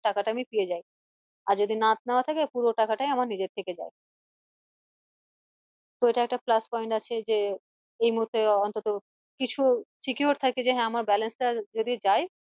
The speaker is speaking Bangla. টাকা টা আমি পেয়ে যাই আর যদি না নেওয়া থাকে পুরো টাকাটাই আমার নিজের থেকে যাই তো এটা একটা plus point আছে যে এই মুহূর্তে অন্তত কিছু secure থাকে যে হ্যাঁ আমার balance টা যদি যাই